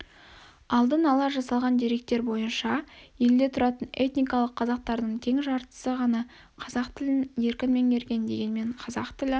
алдын-ала жасалған деректер бойынша елде тұратын этникалық қазақтардың тең жартысы ғана қазақ тілін еркін меңгерген дегенмен қазақ тілі